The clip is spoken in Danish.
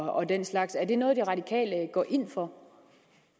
og den slags er det noget de radikale går ind for